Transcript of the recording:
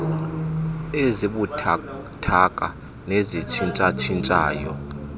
ezibuthathaka nezitshintsha tshintshayo